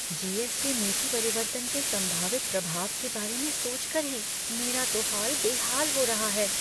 GST. नीति परिवर्तन के संभावित प्रभाव के बारे में सोचकर ही मेरा तो हाल बेहाल हो रहा है।